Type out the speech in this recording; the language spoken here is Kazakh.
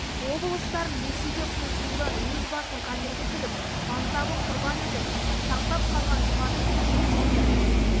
облыстарын ресейге қосылудан өз басын қатерге тігіп мансабын құрбан етіп сақтап қалған жұмабек тәшенов сынды